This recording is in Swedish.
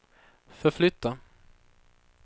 förflytta